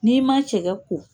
N'i man cɛkɛ ko.